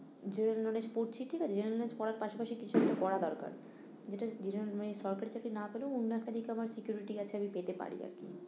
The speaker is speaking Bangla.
General knowledge পড়ছি ঠিক আছে general knowledge পড়ার পাশাপাশি কিছু একটা করা দরকার যেটা যেটা মানে সরকারি চাকরি নাপেলেও অন্য একটা দিকে আমার security আছে আমি পেতে পারি আর কি